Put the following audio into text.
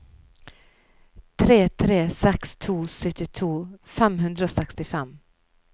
tre tre seks to syttito fem hundre og sekstifem